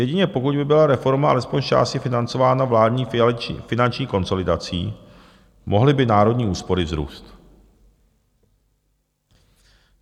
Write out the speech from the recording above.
Jedině pokud by byla reforma alespoň zčásti financována vládní finanční konsolidací, mohly by národní úspory vzrůst.